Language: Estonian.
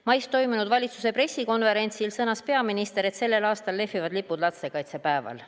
Mais toimunud valitsuse pressikonverentsil sõnas peaminister, et sellel aastal lehvivad lipud lastekaitsepäeval.